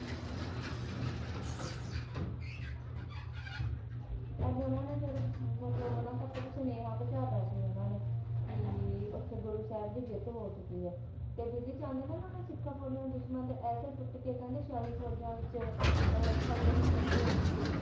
ਉਹਨਾਂ ਨੇ ਉਨ੍ਹਾਂ ਦਾ ਮਤਲਬ ਉਹਨਾਂ ਤੱਕ ਸੁਨੇਹਾ ਪਹੁੰਚਾਤਾ ਸੀ ਉਹਨਾਂ ਨੇ ਵੀ ਗੁਰੂ ਸਾਹਿਬ ਦੀ ਜਿੱਤ ਹੋ ਗਈ ਹੈ ਤੇ ਬਿਧੀਚੰਦ ਤੇ ਉਨ੍ਹਾਂ ਸਿੱਖਾਂ ਫੌਜਾਂ ਦੇ ਦੁਸ਼ਮਣ ਤੇ ਐਸੇ ਟੁੱਟ ਕੇ ਮਤਲਬ ਸ਼ਾਹੀ ਫੌਜਾ ਦੇ ਵਿਚ ਖਲਬਲੀ ਮਚੀ ਹਈ ਸੀ